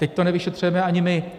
Teď to nevyšetřujeme ani my.